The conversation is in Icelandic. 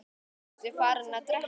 Ertu farinn að drekka?